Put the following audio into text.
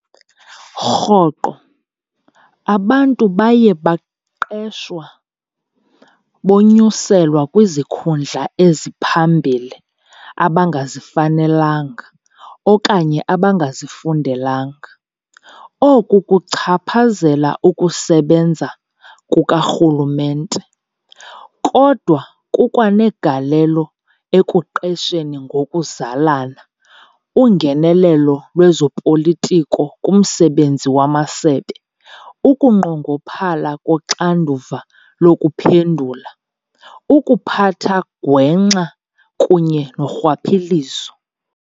Rhoqo, abantu baye baqeshwa bonyuselwa kwizikhundla eziphambili abangazifanelanga okanye abangazifundelanga. Oku kuchaphazela ukusebenza kukarhulumente, kodwa kukwa negalelo ekuqesheni ngokuzalana, ungenelelo lwezopolitiko kumsebenzi wamasebe, ukunqongophala koxanduva lokuphendula, ukuphatha gwenxa kunye norhwaphilizo.